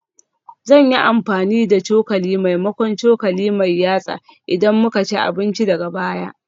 Zan yi amfani da cokali maimakon cokali mai yatsa idan muka ci abinci daga baya